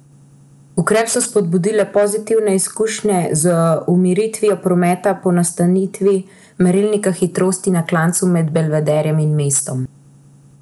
Ukrep so spodbudile pozitivne izkušnje z umiritvijo prometa po namestitvi merilnika hitrosti na klancu med Belvederjem in mestom.